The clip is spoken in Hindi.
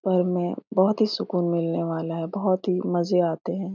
पर में बहुत ही सुकून मिलने वाला है बहुत ही मजे आते है ।